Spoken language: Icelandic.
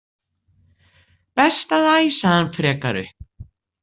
Best að æsa hann frekar upp.